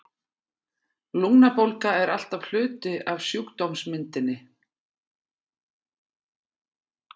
Lungnabólga er alltaf hluti af sjúkdómsmyndinni.